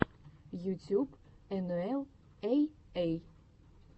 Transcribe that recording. ютюб энуэл эй эй